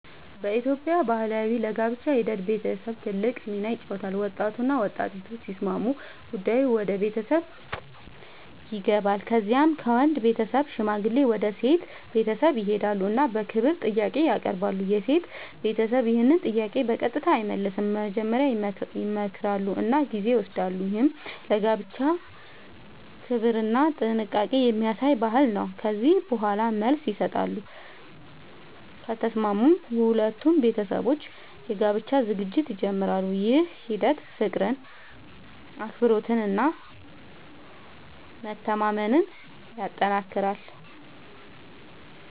በኢትዮጵያ ባህል ለጋብቻ ሂደት ቤተሰብ ትልቅ ሚና ይጫወታል። ወጣቱና ወጣቲቱ ሲስማሙ ጉዳዩ ወደ ቤተሰብ ይገባል። ከዚያ ከወንድ ቤተሰብ ሽማግሌዎች ወደ ሴት ቤተሰብ ይሄዳሉ እና በክብር ጥያቄ ያቀርባሉ። የሴት ቤተሰብ ይህን ጥያቄ በቀጥታ አይመልስም፤ መጀመሪያ ይመክራሉ እና ጊዜ ይወስዳሉ። ይህ ለጋብቻ ክብርና ጥንቃቄ የሚያሳይ ባህል ነው። ከዚያ በኋላ መልስ ይሰጣሉ፤ ከተስማሙም ሁለቱ ቤተሰቦች የጋብቻ ዝግጅት ይጀምራሉ። ይህ ሂደት ፍቅርን፣ አክብሮትን እና መተማመንን ያጠናክራል።